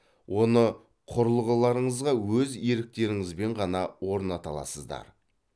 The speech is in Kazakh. оны құрылғыларыңызға өз еріктеріңізбен ғана орната аласыздар